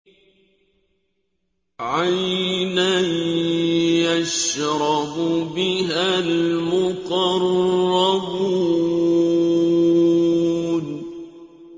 عَيْنًا يَشْرَبُ بِهَا الْمُقَرَّبُونَ